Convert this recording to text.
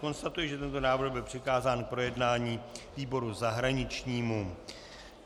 Konstatuji, že tento návrh byl přikázán k projednání výboru zahraničnímu.